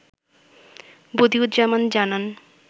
বদিউজ্জামান জানান